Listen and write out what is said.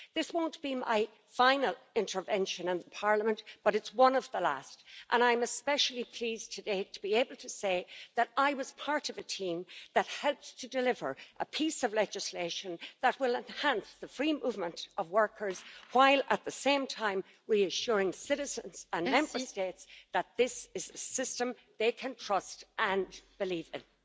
This won't be my final intervention in Parliament, but it's one of the last, and I'm especially pleased today to be able to say that I was part of a team that helped to deliver a piece of legislation that will enhance the free movement of workers while at the same time reassuring citizens and Member States that this is a system they can trust and believe in.